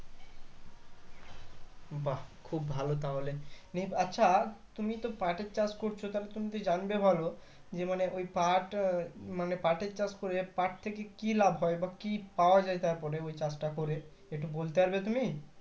বাঃ খুব ভালো তাহলে নিয়ে আচ্ছা তুমি তো পাটের চাষ করছো তা তুমি তো জানবে ভালো যে মানে ওই পাট তা মানে পাটের চাষ করে পাট থেকে কি লাভ হয় বা কি পাওয়া যাই তারপরে ওই চাষ টা করে একটু বলতে পারবে তুমি?